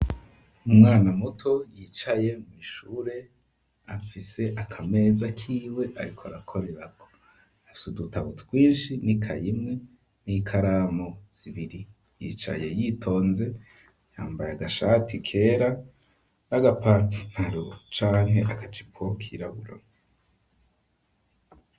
Umwana muto yicaye mw'ishure afise akameza kiwe, ariko arakorerako afise udutabu twinshi ni kayimwe n'ikaramo zibiri yicaye yitonze yambaye agashati kera n'agapanaro, canke agacipo kirabura .